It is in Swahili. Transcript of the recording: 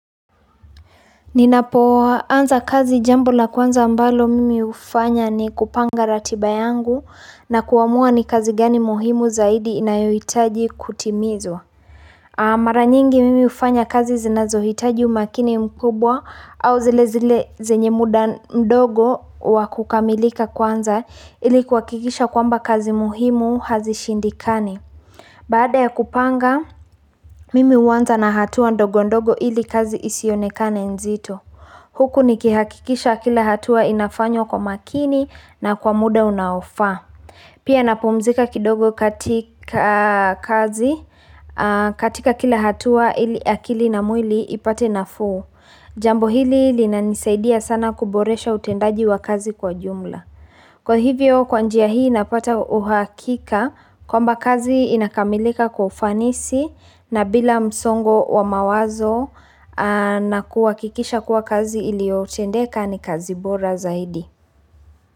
Ninapoanza kazi jambo la kwanza ambalo mimi ufanya ni kupanga ratiba yangu na kuamua ni kazi gani muhimu zaidi inayohitaji kutimizwa. Maranyingi mimi ufanya kazi zinazohitaji umakini mkubwa au zile zile zenye muda mdogo wakukamilika kwanza ili kuhakikisha kwamba kazi muhimu hazishindikani. Baada ya kupanga mimi huanza na hatua ndogo ndogo ili kazi isionekane nzito. Huku nikihakikisha kila hatua inafanywa kwa makini na kwa muda unaofa. Pia napumzika kidogo katika kazi katika kila hatua ili akili na mwili ipate nafuu. Jambo hili linanisaidia sana kuboresha utendaji wa kazi kwa jumla. Kwa hivyo kwanjia hii napata uhakika kwamba kazi inakamilika kwa ufanisi na bila msongo wa mawazo na kuhakikisha kuwa kazi ili otendeka ni kazi bora zaidi.